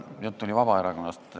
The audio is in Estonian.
Jutt on Vabaerakonnast.